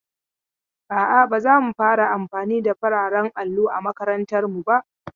A'a, ba za mu fara amfani da fararen allo a makarantar mu ba.